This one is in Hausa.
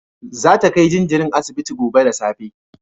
Za ta kai jinjirin asibiti gobe da safe